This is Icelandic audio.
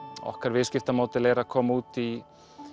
okkar viðskiptamódel er að koma út í